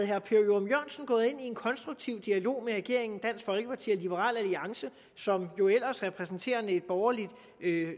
herre per ørum jørgensen gået ind i en konstruktiv dialog med regeringen dansk folkeparti og liberal alliance som jo ellers repræsenterende et borgerligt